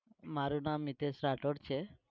મારું નામ મિતેશ રાઠોડ છે.